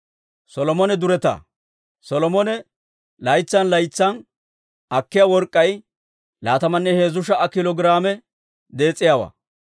Solomone laytsan laytsan akkiyaa work'k'ay laatamanne heezzu sha"a kiilo giraame dees'iyaawaa.